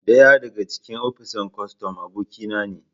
daya daga cikin opisan kostom abokinane